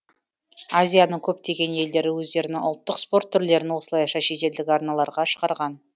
азияның көптеген елдері өздерінің ұлттық спорт түрлерін осылайша шетелдік арналарға шығарған